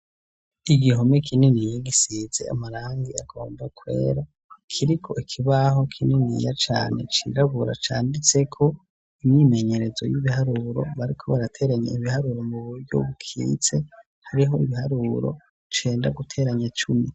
Igihome kininiya gisize amarangi agomba kwera kiriko ikibaho kininiya cane cirabura canditseko imyimenyerezo y'ibiharuro bariko barateranya ibiharuro mu buryo bukitse hariho ibiharuro cenda guteranya cumi.